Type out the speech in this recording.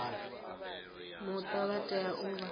muta vha tea u vha